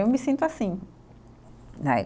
Eu me sinto assim, né.